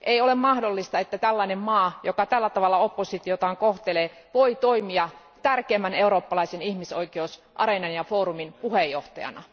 Ei ole mahdollista, että tällainen maa, joka kohtelee tällä tavalla oppositiotaan, voi toimia tärkeimmän eurooppalaisen ihmisoikeusareenan ja foorumin puheenjohtajana.